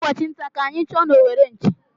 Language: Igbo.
Ụbọchị ntá ka anyị chụọ n'owere nchì.